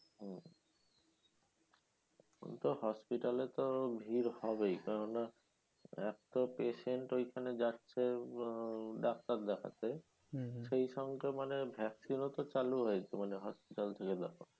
ঐতো hospital এ তো ভিড় হবেই, কেন না? এক তো patient ঐখানে যাচ্ছে আহ ডাক্তার দেখাতে। সেই সঙ্গে মানে vaccine ও তো চালু হয়েছে মানে hospital